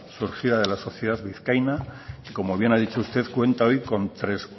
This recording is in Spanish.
surgida de la sociedad vizcaína y como bien ha dicho usted cuenta hoy con